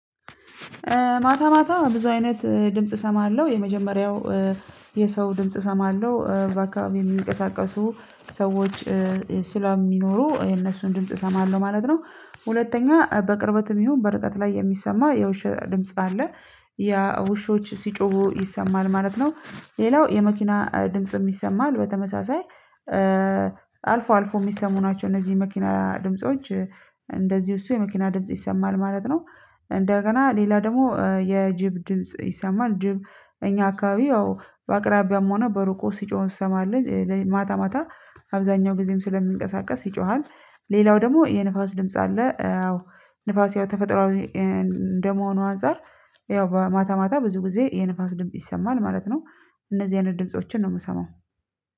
ማታ ማታ ብዙ አይነት ድምጽ እሰማለሁ የመጀመሪያው የሰው ድምጽ እሰማለሁ በአካባቢው የሚንቀሳቀሱ ሰዎች ስለሚኖሩ የነሱን ድምጽ እሰማለሁ ማለት ነው። ሁለተኛ በቅርበትም ይሁን በርቀት ላይ የሚሰማ የውሻ ድምጽ አለ። ያ ውሾች ሲጮሁ ይሰማል ማለት ነው። ሌላው የመኪና ድምጽም ይሰማል በተመሳሳይ አልፎ አልፎ የሚሰሙ ናቸው እነዚህ መኪና ድምጾች እንደዚሁ እሱ የመኪና ድምጽ ይሰማል ማለት ነው። እንደገና ሌላ ደግሞ የጅብ ድምጽ ይሰማል ጅብ እኛ አካባቢ ያው በአቅራቢያም ሆነ በሩቆ ሲጮህ እንሰማለን ማታ ማታ አብዛኛው ጊዜም ስለሚንቀሳቀስ ይጮሃል። ሌላው ደግሞ የንፋስ ድምጽ አለ። ንፋስ ያው ተፈጥሮአዊ እንደመሆኑ አንፃር ያው በማታ ማታ ብዙ ጊዜ የንፋስ ድምጽ ይሰማል ማለት ነው። እነዚህ አይነት ድምፆችን ነው የምሰማው